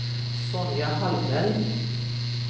Sonja Hallberg